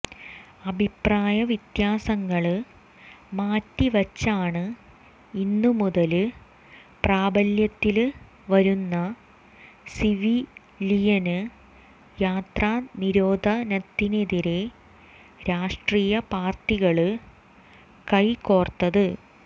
അഭിപ്രായ വ്യത്യാസങ്ങള് മാറ്റിവച്ചാണ് ഇന്നു മുതല് പ്രാബല്യത്തില് വരുന്ന സിവിലിയന് യാത്രാനിരോധനത്തിനെതിരേ രാഷ്ട്രീയ പാര്ട്ടികള് കൈകോര്ത്തത്